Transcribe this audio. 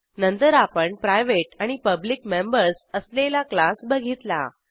नंतर आपण प्रायव्हेट आणि पब्लिक मेंबर्स असलेला क्लास बघितला